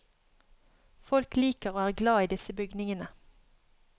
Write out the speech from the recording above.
Folk liker og er glad i disse bygningene.